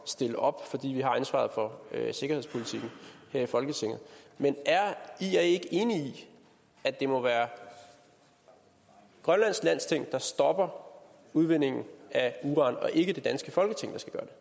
stille op fordi vi har ansvaret for sikkerhedspolitikken her i folketinget man er ia ikke enige i at det må være grønlands landsting der stopper udvindingen af uran og ikke den danske folketing